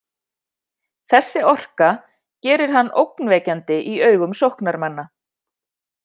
Þessi orka gerir hann ógnvekjandi í augum sóknarmanna.